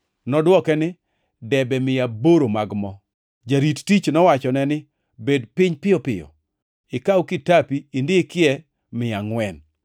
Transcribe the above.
“Nodwoke ni, ‘Debe mia aboro mag mo.’ “Jarit tich nowachone ni, ‘Bed piny piyo piyo, ikaw kitapi indikie ni, mia angʼwen.’